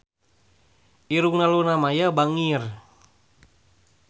Irungna Luna Maya bangir